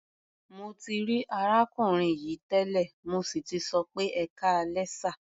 Mo ti rí arákùnrin yìí tẹ́lẹ̀, mo sì tì sọ pé "ẹkáalẹ́ sà".